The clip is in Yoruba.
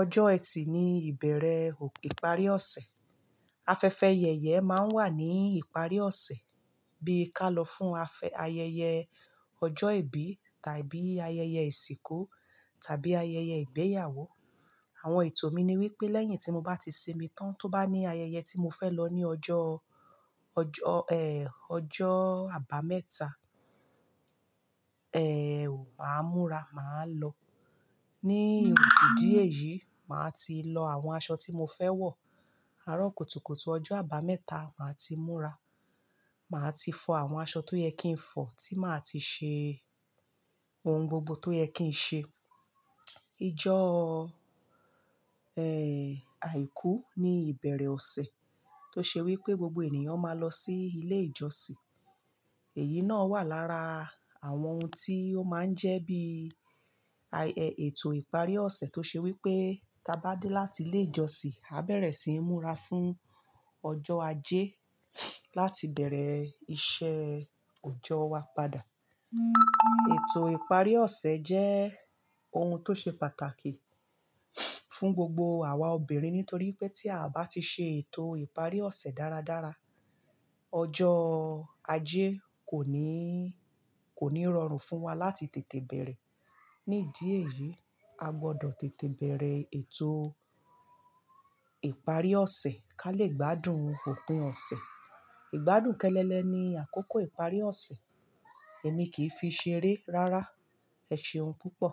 Ọjọ́ ẹtì ni ìbẹ̀rẹ̀ ìparí ọ̀sẹ̀. Afẹ́fẹ́ yẹyẹ máa ń wà ní ìparí ọ̀sẹ̀ bí ka lọ fún ayẹyẹ ọjọ́ ìbí tàbí ayẹyẹ ìsìnkú tàbí ayẹyẹ ìgbéyàwó. Àwọn ètò mi ni wípé lẹ́yìn tí mo bá ti sinmi tán tó bá ní ayẹyẹ tí mo fẹ́ lọ ní ọjọ́, ọjọ́, ẹ́, ọjọ́ àbámẹ́ta, ẹ́, màá múra, màá lọ. Ní ìdí èyí, màá ti lọ àwọn aṣọ tí mo fẹ́ wọ̀, ará kùtùkùtù ọjọ́ àbámẹ́ta màá ti múra. Màá ti fọ àwọn aṣọ tó yẹ kí n fọ̀, tí màá ti ṣe ohun gbogbo tó yẹ kí n ṣe. Ijọ, ẹ́, àìkú ni ìbẹ̀rẹ̀ ọ̀sẹ̀ tó ṣe wípé gbogbo ènìyàn máa lọ sí ilé ìjọsìn. Èyí náà wà lára àwọn ohun tí ó máa ń jẹ́ bí ètò ìparí ọ̀sẹ̀ tó ṣe wípé tá bá dé láti ilé ìjọsìn, a bẹ̀rẹ̀ síi múra fún ọjọ́ ajé láti bẹ̀rẹ̀ iṣẹ́ ọjọ́ wa padà. Ètò ìparí ọ̀sẹ̀ jẹ́ ohun tó ṣe pàtàkì fún gbogbo àwa obìnrin nítorí pé tí a bá ti ṣe ètò ìparí ọ̀sẹ̀ dáradára, ọjọ́ ajé kò ní, kò ní rọrùn fún wa láti tètè bẹ̀rẹ̀. Ní dí ẹ̀yí, a gbọ́dọ̀ tètè bẹ̀rẹ̀ ètò ìparí ọ̀sẹ̀ ká lè gbádùn òpin ọ̀sẹ̀. Ìgbádùn kẹ́lẹ́lẹ́ ni àkókò ìparí ọ̀sẹ̀ èmi kìí fi ṣeré rárá, ẹ ṣeun púpọ̀.